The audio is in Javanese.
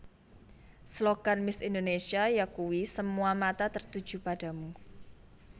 Slogan Miss Indonésia yakuwi Semua Mata Tertuju Padamu